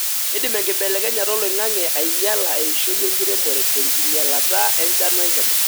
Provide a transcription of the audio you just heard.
keidim enkibelekenyata oloingange ainyiala eishoi enkiremore tenkinyialata enchan wenkima.